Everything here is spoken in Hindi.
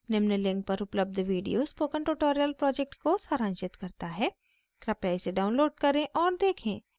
निम्न link पर उपलब्ध video spoken tutorial project को सारांशित करता है कृपया इसे download करें और देखें